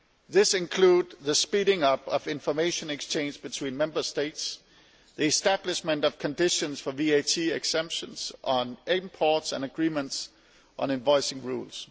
This includes the speeding up of information exchange between Member States, the establishment of conditions for VAT exemptions on imports and agreements on invoicing rules.